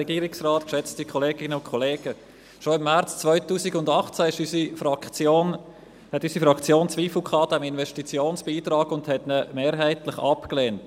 Schon im März 2018 hatte unsere Fraktion Zweifel am Investitionsbeitrag und lehnte diesen mehrheitlich ab.